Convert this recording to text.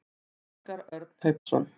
Óskar Örn Hauksson.